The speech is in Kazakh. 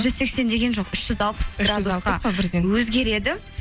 жүз сексен деген жоқ үш жүз алпыс өзгереді